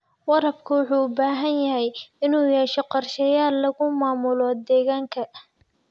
Waraabka wuxuu u baahan yahay inuu yeesho qorshayaal lagu maamulo deegaanka.